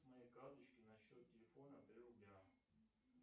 с моей карточки на счет телефона три рубля